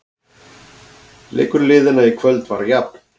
Leikur liðanna í kvöld var jafn